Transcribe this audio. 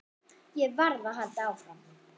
Ég varð að halda áfram.